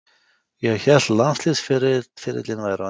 Ég hélt landsliðsferillinn væri á enda.